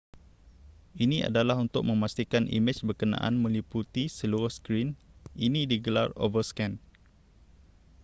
ini adalah untuk memastikan imej berkenaan meliputi seluruh skrin ini digelar overscan